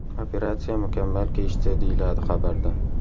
Operatsiya mukammal kechdi”, deyiladi xabarda.